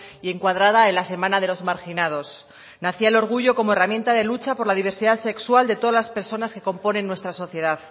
y encuadrada en la semana de los marginados nacía el orgullo como herramienta de lucha por la diversidad sexual de todas las personas que componen nuestra sociedad